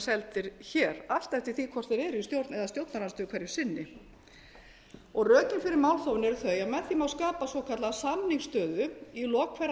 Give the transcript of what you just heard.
seldir hér allt eftir því hvort þeir eru í stjórn eða stjórnarandstöðu hverju sinni rökin fyrir málþófinu eru þau að með því má skapa svokallaða samningsstöðu í lok hverrar